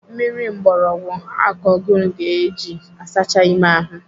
Mmiri mgbọrọgwụ akogun ka eji asacha ime ahụ.